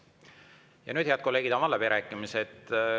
Ja nüüd, head kolleegid, avan läbirääkimised.